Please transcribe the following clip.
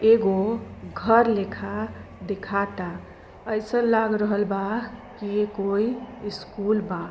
एगो घर लेखा देखाता ऐसन लाग रहल बा कि ये कोई स्कूल बा।